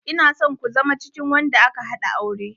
Ina son ku zama cikin wanda aka haɗa aure.